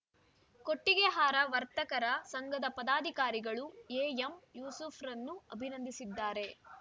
ಕೊಟ್ಟಿಗೆಹಾರ ವರ್ತಕರ ಸಂಘದ ಪದಾಧಿಕಾರಿಗಳು ಎಎಂ ಯೂಸುಫ್ ರನ್ನು ಅಭಿನಂದಿಸಿದ್ದಾರೆ